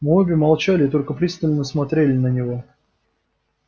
мы обе молчали и только пристально смотрели на него